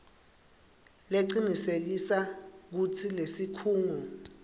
lecinisekisa kutsi lesikhungo